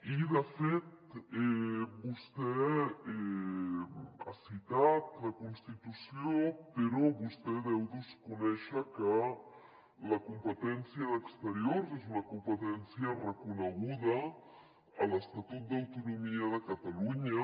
i de fet vostè ha citat la constitució però vostè deu desconèixer que la competència d’exteriors és una competència reconeguda a l’estatut d’autonomia de catalunya